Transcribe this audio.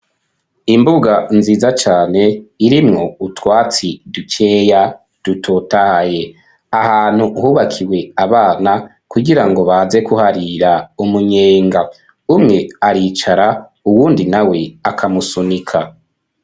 Imbuga nziza cyane irimwo utwatsi dukeya dutotahaye ahantu hubakiwe abana kugirango baze kuharira umunyenga umwe aricara uwundi na we akamusunika.